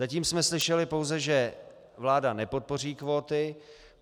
Zatím jsme slyšeli pouze, že vláda nepodpoří kvóty.